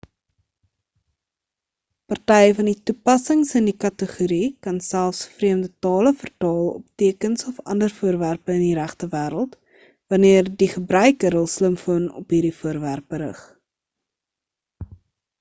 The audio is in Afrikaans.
party van die toepassings in die kategorie kan selfs vreemde tale vertaal op tekens of ander voorwerpe in die regte wêreld wanneer die gebruiker hul slimfoon op hierdie voorwerpe rig